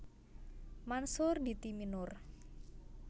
Mansur di Timenur